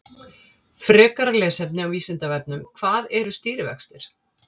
Frekara lesefni á Vísindavefnum: Hvað eru stýrivextir?